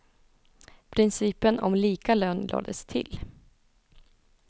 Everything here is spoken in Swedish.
Principen om lika lön lades till.